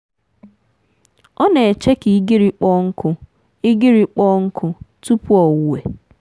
ọ na-eche ka igirii kpọọ nkụ igirii kpọọ nkụ tupu owuwe.